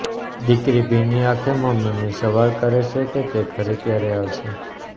દીકરી ભીની આંખે મમ્મીને સવાલ કરે છે કે તે ઘરે ક્યારે આવશે